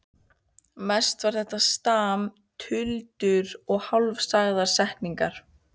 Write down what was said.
Mest var þetta stam, tuldur og hálfsagðar setningar.